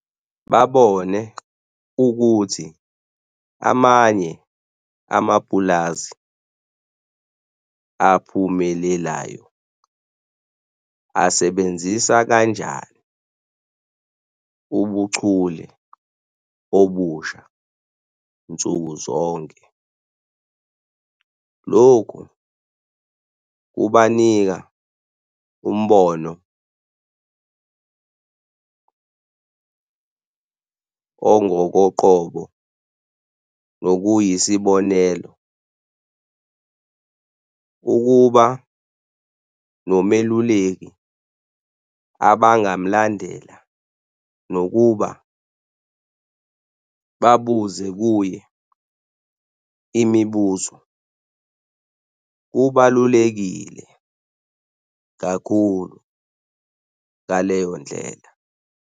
Babone ukuthi amanye amapulazi aphumelelayo asebenzisa kanjani ubuchule obusha nsuku zonke. Lokhu kubanika umbono ongokoqobo nokuyi sibonelo ukuba nomeluleki abangamalandela nokuba babuze kuye imibuzo. Kubalulekile kakhulu ngaleyo ndlela.